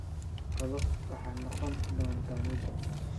Qado waxay noqon doontaa midho.